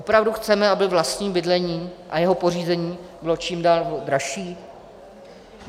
Opravdu chceme, aby vlastní bydlení a jeho pořízení bylo čím dál dražší?